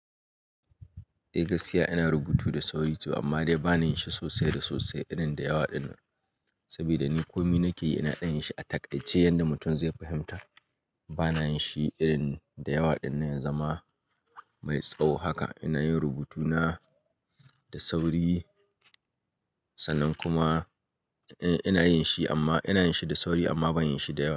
Eh gaskiya ina rubutu da sauri to amma dai bana yin shi sosai da sosai irin da yawa ɗin nan. Sabida ni ko me nake yi ina yin shi a taƙaice yadda mutum zai fahimta. Bana yin shi irin da yawa ɗin nan ya zama mai tsawo haka. Ina yin rubutuna da sauri sannan kuma ina yin shi amma ina yin shi da sauri amma ban yin shi da yawa.